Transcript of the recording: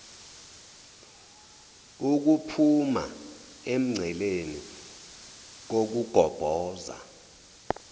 ukuphuma emngceleni kokugobhoza